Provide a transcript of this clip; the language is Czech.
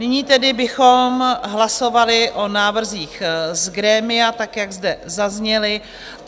Nyní tedy bychom hlasovali o návrzích z grémia tak, jak zde zazněly.